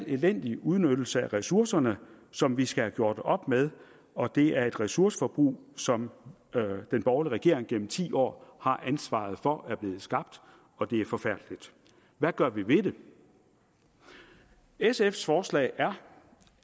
elendig udnyttelse af ressourcerne som vi skal have gjort op med og det er et ressourceforbrug som den borgerlige regering gennem ti år har ansvaret for er blevet skabt og det er forfærdeligt hvad gør vi ved det sfs forslag er